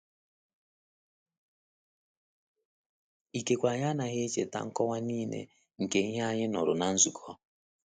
Ikekwe anyị anaghị echeta nkọwa niile nke ihe anyị nụrụ na nzukọ.